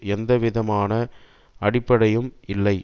எந்த விதமான அடிப்படையும் இல்லை